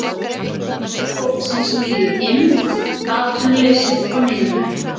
Aðkomufólksins bíður eymd, atvinnuleysi og niðurlæging.